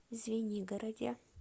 звенигороде